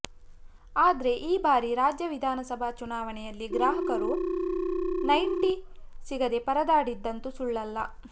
ಆದ್ರೆ ಈ ಬಾರಿ ರಾಜ್ಯ ವಿಧಾನಸಭಾ ಚುನಾವಣೆಯಲ್ಲಿ ಗ್ರಾಹಕರು ನೈಂಟಿ ಸಿಗದೇ ಪರದಾಡಿದ್ದಂತು ಸುಳ್ಳಲ್ಲ